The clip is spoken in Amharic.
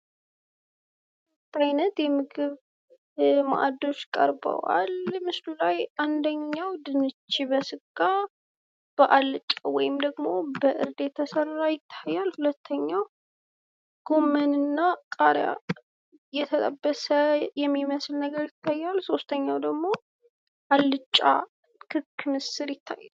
በአይነት የምግብ ማዕዶች ቀርበዋል ምስሉ ላይ። አንደኛው ድንች በስጋ በአልጫ ወይም ደግሞ በእርድ የቸሰራ ይታያል። ሁለተኛውጎመንና ቃርያ የተጠበሰ የሚመስል ነገር ይታያል። ሶስተኛው ደሞ አልጫ ክክ ምስር ይታያል።